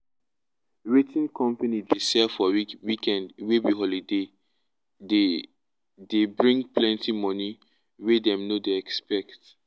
wetin company dey sell for weekend wey be holiday dey dey bring plenty money wey dem no dey expect